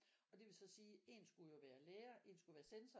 Og det ville så sige en skulle være lærer en skulle være censor